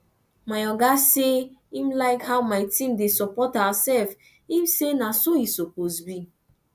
my oga say im like how my team dey support ourself im say na so e suppose be